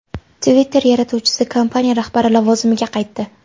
Twitter yaratuvchisi kompaniya rahbari lavozimiga qaytdi.